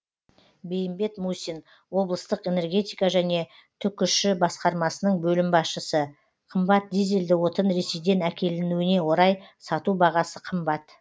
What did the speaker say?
бейімбет мусин облыстық энергетика және түкш басқармасының бөлім басшысы қымбат дизельді отын ресейден әкелінуіне орай сату бағасы қымбат